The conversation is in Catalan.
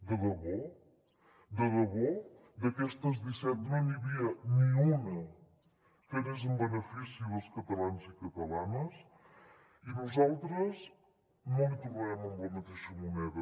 de debò de debò d’aquestes disset no n’hi havia ni una que anés en benefici dels catalans i catalanes i nosaltres no l’hi tornarem amb la mateixa moneda